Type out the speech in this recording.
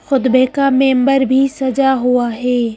खुदबे का मेंबर भी सजा हुआ हे ।